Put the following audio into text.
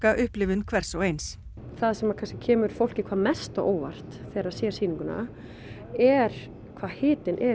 upplifun hvers og eins það sem kemur fólki hvað mest á óvart þegar það sér sýninguna er hvað hitinn r